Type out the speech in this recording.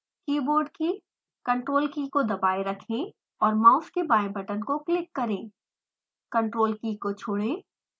keyboard की ctrl की key को दबाएँ रखें और माउस के बाएं बटन को क्लिक करें